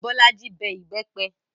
Bolaji bẹ ìbẹ́pẹ